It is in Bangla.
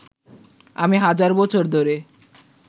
আমি হাজার বছর ধরে